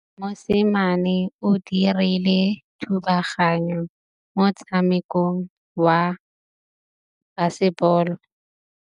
Mosimane o dirile thubaganyô mo motshamekong wa basebôlô.